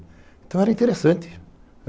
Então, era interessante.